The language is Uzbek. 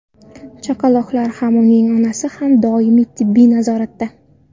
Chaqaloqlar ham, ularning onasi ham doimiy tibbiy nazoratda.